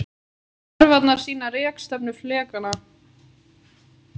Örvarnar sýna rekstefnu flekanna.